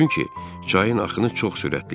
Çünki çayın axını çox sürətli idi.